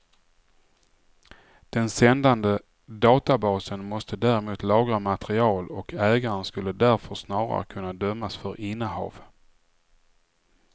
Den sändande databasen måste däremot lagra material och ägaren skulle därför snarare kunna dömas för innehav.